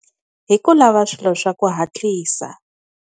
Hi ku lava swilo swa ku hatlisa.